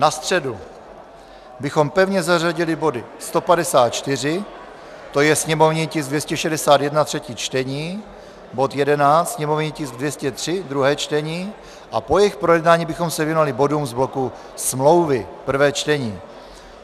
Na středu bychom pevně zařadili body 154, to je sněmovní tisk 261, třetí čtení, bod 11, sněmovní tisk 203, druhé čtení, a po jejich projednání bychom se věnovali bodům z bloku smlouvy - prvé čtení.